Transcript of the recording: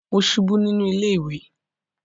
Mo ṣubú nínú ilé ìwẹ̀